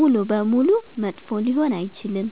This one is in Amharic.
ሙሉ በሙሉ መጥፎ ሊሆን አይችልም።